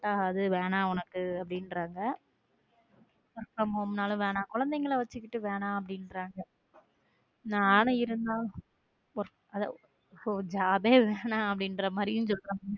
அது வேணா உனக்கு அப்படிங்கிறாங் work from home நாளும் வேணாம் குழந்தைகளை வச்சுக்கிட்டு வேணாம் அப்படிங்கறாங்க நான் இருந்தாலும் job வேணாம் அப்படிங்கிற மாதிரியும் சொல்றாங்க.